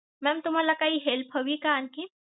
Mam तुम्हाला काही help हवी का आणखीन?